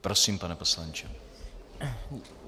Prosím, pane poslanče.